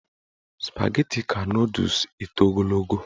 Spageti ka nọdụs eto ogologo.